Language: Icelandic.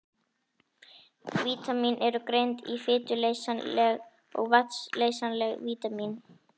Vítamín eru greind í fituleysanleg og vatnsleysanleg vítamín.